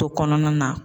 To kɔnɔna na